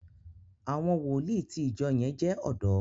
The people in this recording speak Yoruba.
àwọn wòlíì tí ìjọ yén jé odò